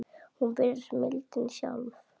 Hún virðist mildin sjálf.